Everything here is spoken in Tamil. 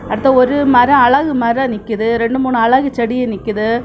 அந்த ஒரு மரோ அழகு மரோ நிக்கிது ரெண்டு மூணு அழகு செடியு நிக்கிது.